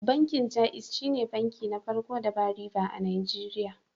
Bankin Jaiz shine banki na farko da ba riba a Najeriya.